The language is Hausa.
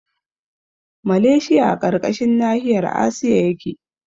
Maleshiya a ƙarƙashin nahiyar asiya yake